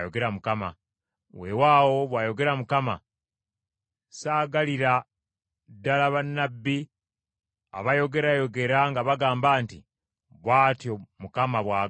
“Weewaawo,” bw’ayogera Mukama , “saagalira ddala bannabbi abayogerayogera nga bagamba nti, ‘Bw’atyo Mukama bw’agamba.’